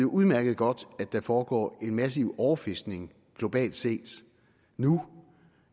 udmærket godt at der foregår en massiv overfiskning globalt set nu